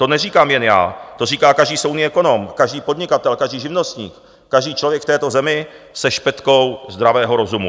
To neříkám jen já, to říká každý soudný ekonom, každý podnikatel, každý živnostník, každý člověk v této zemi se špetkou zdravého rozumu.